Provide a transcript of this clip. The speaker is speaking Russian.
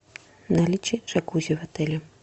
наличие джакузи в отеле